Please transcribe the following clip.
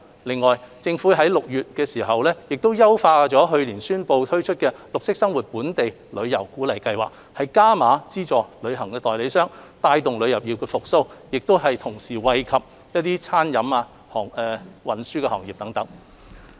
此外，政府於6月優化去年年底宣布推出的綠色生活本地遊鼓勵計劃，加碼資助旅行代理商，帶動旅遊業復蘇，並同時惠及餐飲和運輸等行業。